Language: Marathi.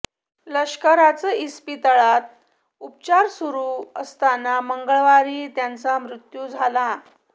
लष्कराच इस्पितळात उपचार सुरू असताना मंगळवारी त्यांचमृत्यू झाला